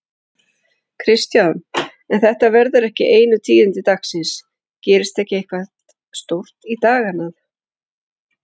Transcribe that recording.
Kristján: En þetta verða ekki einu tíðindi dagsins, gerist ekki eitthvað stórt í dag annað?